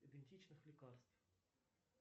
идентичных лекарств